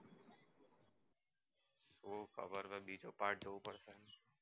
ખબર નથી part two પર